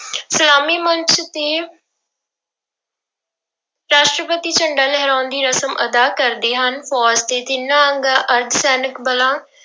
ਸਲਾਮੀ ਮੰਚ ਤੇ ਰਾਸ਼ਟਰਪਤੀ ਝੰਡਾ ਲਹਿਰਾਉਣ ਦੀ ਰਸਮ ਅਦਾ ਕਰਦੇ ਹਨ, ਫੌਜ਼ ਦੇ ਤਿੰਨਾ ਅੰਗਾਂ ਅਰਧ ਸੈਨਿਕ ਬਲਾਂ